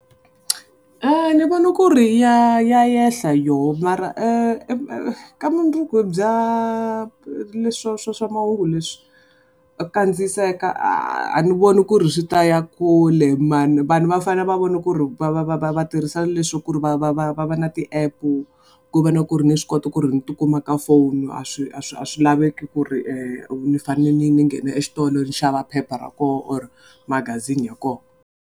Ni vone ku ri ya ya ehla yona mara ka mundzuku bya leswa swa swa mahungu leswi, kandziyiseka a ni voni ku ri swi ta ya kule man. Vanhu va fanele va vona ku ri va va va tirhisa leswa ku ri va va va na ti-epu ku ve na ku ri ni swi kota ku ri ni ti kuma ka foni a swi a swi a swi laveki ku ri ni fanele ni ni ni nghena exitolo ni xava phepha ra koho or magazini ya koho.